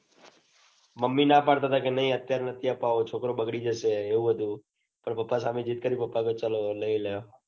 Mummy ના પડતા હતા કે નઈ અત્યારે નથી. આપાવતો છોકરો બગડી જશે એવું હતું. તો પાપા સામે જીદ્દ પાપા એ કીધું ચાલો લઇ લે.